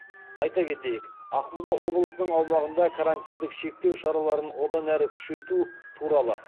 айта кетейік ақмола облысының аумағында карантиндік шектеу шараларын одан әрі күшейту туралы